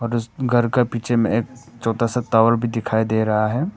और उस घर का पीछे में एक छोटा सा टावर भी दिखाई दे रहा है।